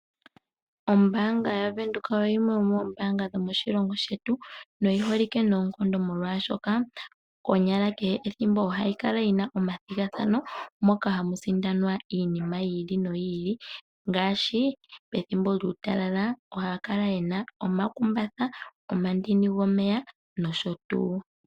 Ombaanga yaVenduka oyo yimwe yomoombanga dhomoshilongo shetu. Oyi holike noonkondo molwaashoka konyala kehe ethimbo ohayi kala yi na omathigathano moka hamu sindanwa iinima yi li noyi ili. Ngaashi pethimbo lyuutalala ohaya kala ye na omakumbatha, omandini gomeya nosho tuu.